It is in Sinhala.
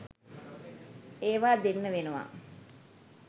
ඒවා දෙන්න වෙනවා.